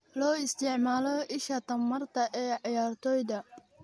Loo isticmaalo isha tamarta ee ciyaartoyda.